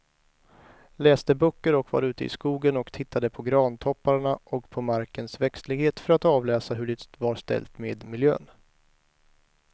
Läste böcker och var ute i skogen och tittade på grantopparna och på markens växtlighet för att avläsa hur det var ställt med miljön.